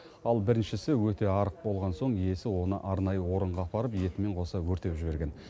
ал біріншісі өте арық болған соң иесі оны арнайы орынға апарып етімен қоса өртеп жіберген